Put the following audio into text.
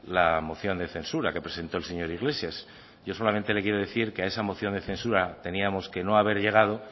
la moción de censura que presentó el señor iglesias yo solamente le quiero decir que a esa moción de censura teníamos que no haber llegado